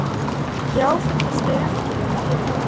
Ég áfellist þig ekki ef þú gerir það.